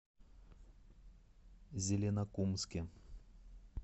зеленокумске